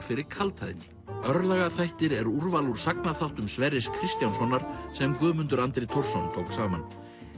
fyrir kaldhæðni er úrval úr Sverris Kristjánssonar sem Guðmundur Andri Thorsson tók saman